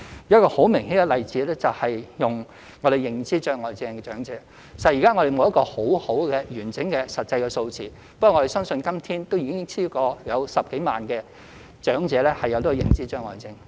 一個很明顯的例子是有認知障礙症的長者，實在現時我們沒有一個很好、完整的實際數字，不過我們相信今天已有超過10多萬名長者患有認知障礙症。